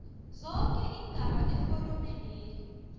zoke iingaba eforomeneli